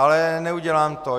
Ale neudělám to.